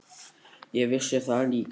Ég vissi það líka.